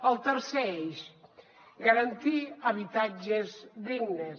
el tercer eix garantir habitatges dignes